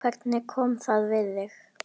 Hvernig kom það við þig?